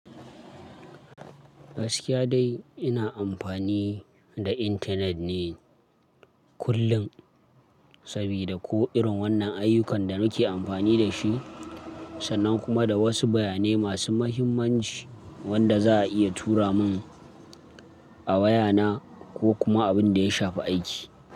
Gaskiya dai ina amfani da intanet ne kullum sabida ko irin wannan ayyukan da muke amfani da shi, sannan kuma da wasu bayanai masu muhimmanci wanda za'a iya tura mun a wayana ko kuma abin da ya shafi aiki.